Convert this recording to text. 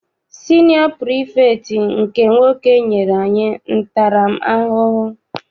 Siniọ pirifektị nke nwoke nyere anyị ntara m ahụhụ.